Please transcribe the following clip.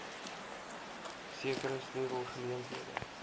sekere sleutel geleenthede